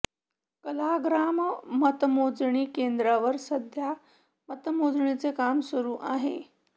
कलाग्राम मतमोजणी केंद्रावर सध्या मतमोजणीचे काम सुरू आहे